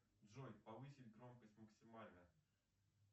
джой повысить громкость максимально